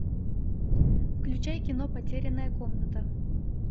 включай кино потерянная комната